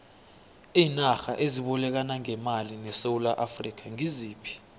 iinarha ezibolekana ngemali nesewula afrika ngiziphi